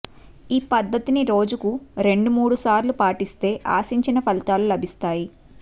ఈ పద్దతిని రోజుకు రెండు మూడు సార్లు పాటిస్తే ఆశించిన ఫలితాలు లభిస్తాయి